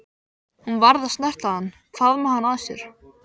Hún varð að snerta hann, faðma hann að sér.